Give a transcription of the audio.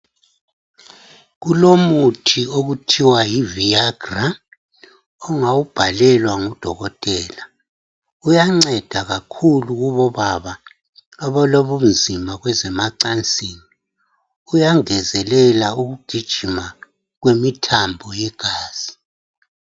Kulomuthi okuthiwa yi Viagra ongawubhalelwa ngu Dokotela, uyanceda kakhulu Kubo baba, abalobunzima kwezemacansini kuyangezelela ukugijima kwemithambo igazi.